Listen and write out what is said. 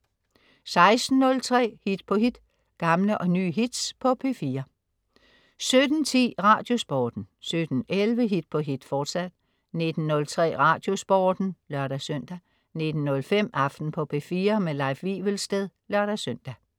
16.03 Hit på hit. Gamle og nye hits på P4 17.10 Radiosporten 17.11 Hit på hit, fortsat 19.03 Radiosporten (lør-søn) 19.05 Aften på P4. Leif Wivelsted (lør-søn)